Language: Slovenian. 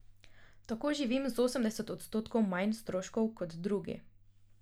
Tako živim z osemdeset odstotkov manj stroškov kot drugi.